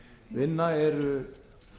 vinna eru